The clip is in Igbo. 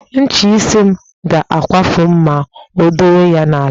Ncha isi m ga-akwafu ma m dowe ya n'ala